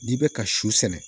N'i bɛ ka su sɛnɛ